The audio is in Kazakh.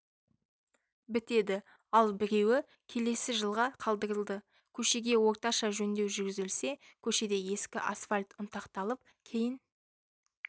бітеді ал біреуі келесі жылға қалдырылды көшеге орташа жөндеу жүргізілсе көшеде ескі асфальт ұнтақталып кейін